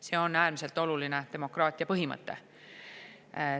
See on äärmiselt oluline demokraatia põhimõte.